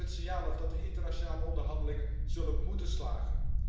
Geef het signaal af dat de internationale onderhandelingen zullen moeten slagen.